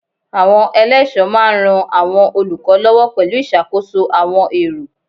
Àwọn eléso máa ran àwọn olùkọ́ lọ́wọ́ pẹ̀lú ìṣàkóso àwọn èrò.